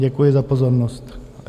Děkuji za pozornost.